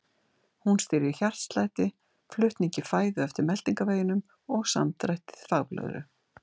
Hún stýrir hjartslætti, flutningi fæðu eftir meltingarveginum og samdrætti þvagblöðru.